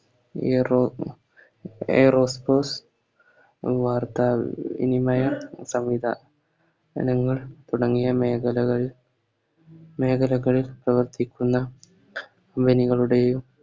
എറോ Aerospace തുടങ്ങിയ മേഖലകളിൽ മേഖലകളിൽ പ്രവർത്തിക്കുന്ന company കളുടെയും